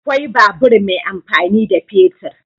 Akwai babur mai amfani da fetur.